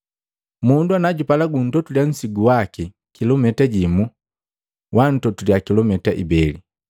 Mundu anajupala untotuliya nsigu waki kilumita jimu, witotula kilumita ibeli.